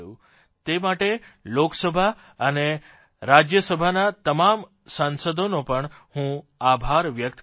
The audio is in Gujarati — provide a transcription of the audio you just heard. તે માટે લોકસભા અને રાજયસભાના તમામ સાંસદોનો પણ હું આભાર વ્યકત કરૂં છું